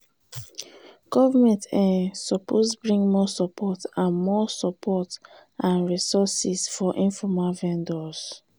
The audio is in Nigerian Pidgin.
government um suppose bring more support and more support and resources for informal vendors.